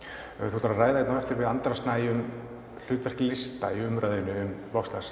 þú ætlar að ræða hérna á eftir við Andra Snæ um hlutverk lista í umræðu um